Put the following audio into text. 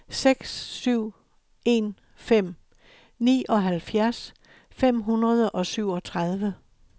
seks syv en fem nioghalvfjerds fem hundrede og syvogtredive